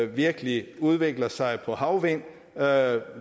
virkelig udvikler sig på havvind hvad